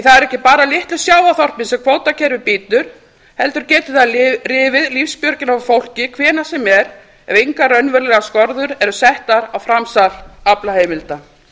það eru ekki bara litlu sjávarþorpin sem kvótakerfið bítur heldur getur það rifið lífsbjörgina af fólki hvenær sem er ef engar raunverulegar skorður eru settar á framsal aflaheimilda